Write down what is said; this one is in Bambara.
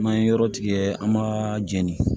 N'an ye yɔrɔ tigɛ an m'a jɛni